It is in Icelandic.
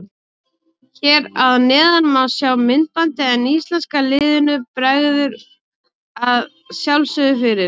Hér að neðan má sjá myndbandið en íslenska liðinu bregður að sjálfsögðu fyrir.